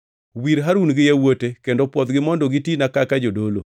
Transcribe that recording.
“Wir Harun gi yawuote kendo pwodhgi mondo gitina kaka jodolo.